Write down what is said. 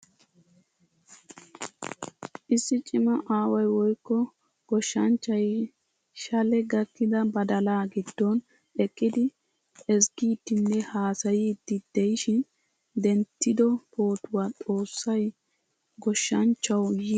Issi cima aaway woykko goshshanchchay shale gakkida badaala giddon eqqidi ezzgidinne haasayidi deishin denttido pootuwaa. Xoossay goshshanchchawu yiiya metuwaa digo.